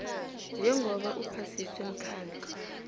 njengoba uphasiswe mkhandlu